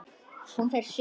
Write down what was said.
Hún fer suður.